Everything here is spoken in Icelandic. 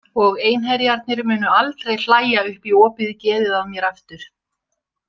Og einherjarnir munu aldrei hlæja upp í opið geðið á mér aftur.